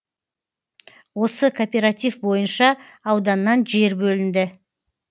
осы кооператив бойынша ауданнан жер бөлінді